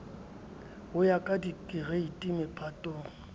ho ya ka dikereiti mephatong